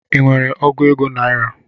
I nwere ọgu naira?